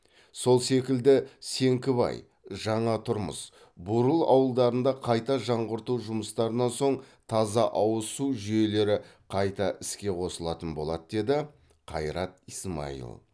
сол секілді сеңкібай жаңатұрмыс бурыл ауылдарында қайта жаңғырту жұмыстарынан соң таза ауыз су жүйелері қайта іске қосылатын болады деді қайрат исмаил